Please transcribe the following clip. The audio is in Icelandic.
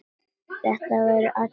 Þetta veit allur bærinn!